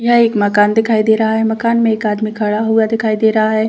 यह एक मकान दिखाई दे रहा है मकान में एक आदमी खड़ा हुआ दिखाई दे रहा है।